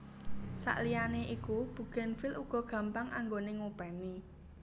Sakliyane iku bugenvil uga gampang anggoné ngopèni